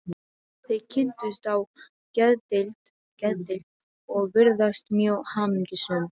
Þau kynntust á geðdeild og virðast mjög hamingjusöm.